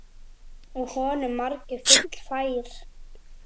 Úr honum margur fylli fær.